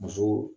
Muso